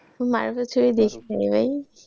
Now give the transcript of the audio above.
মারুলের ছবি দেখি